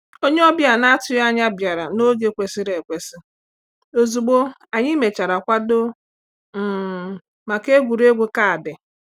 Onye ọbịa na-atụghị anya bịara n’oge kwesịrị ekwesị, ozugbo anyị mechara kwado um maka egwuregwu kaadị.